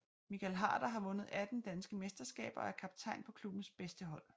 Michael Harder har vundet 18 danske mesterskaber og er kaptajn på klubbens bedste hold